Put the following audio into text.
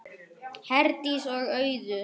Herdís og Auður.